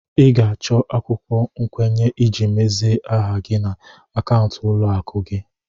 Ị ga-achọ akwụkwọ nkwenye iji mezie aha gị na akaụntụ ụlọ akụ gị.